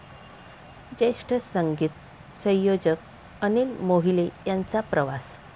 ज्येष्ठ संगीत संयोजक अनिल मोहिले यांचा प्रवास